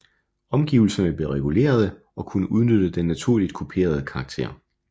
Omgivelserne blev regulerede og kunne udnytte den naturligt kuperede karakter